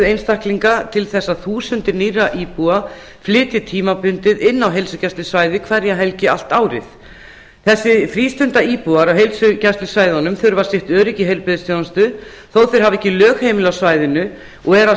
einstaklinga til þess að þúsundir nýrra íbúa flytji tímabundið in á heilsugæslusvæðið hverja helgi allt árið þessir frístundaíbúar á heilsugæslusvæðunum þurfa sitt öryggi í heilbrigðisþjónustu þó að þeir hafi ekki lögheimili á svæðinu og að